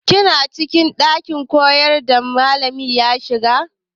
Kina cikin ɗakin koyarwa da malami ya shiga?